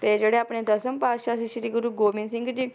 ਤੇ ਜਿਹੜੇ ਆਪਣੇ ਦਸ਼ਮ ਪਾਤਸ਼ਾਹ ਸੀ ਸ਼੍ਰੀ ਗੁਰੂ ਗੋਬਿੰਦ ਸਿੰਘ ਜੀ,